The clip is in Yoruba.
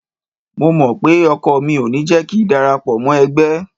Mo mọ̀ pé ọkọ mi ò ní jẹ́ kíi darapọ̀ mọ́ ẹgbẹ́.